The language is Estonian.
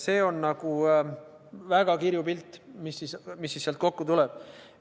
See on väga kirju pilt, mis sealt kokku tuleb.